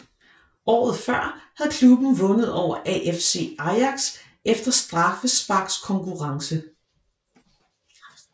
Året før havde klubben vundet over AFC Ajax efter straffesparkskonkurrence